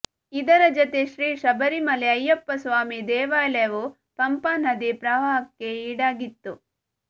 ಇದರ ಜತೆ ಶ್ರೀ ಶಬರಿಮಲೆ ಅಯ್ಯಪ್ಪಸ್ವಾಮಿ ದೇವಾಲಯವೂ ಪಂಪಾನದಿ ಪ್ರವಾಹಕ್ಕೆ ಈಡಾಗಿತ್ತು